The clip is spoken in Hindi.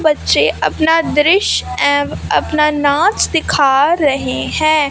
बच्चे अपना दृश्य एवं अपना नाच दिखा रहे हैं।